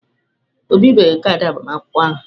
O bibeghị kaadị agbamakwụkwọ ahụ.